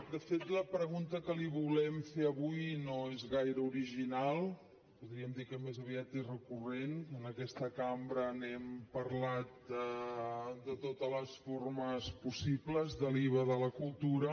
de fet la pregunta que li volem fer avui no és gaire original podríem dir que més aviat és recurrent en aquesta cambra n’hem parlat de totes les formes possibles de l’iva de la cultura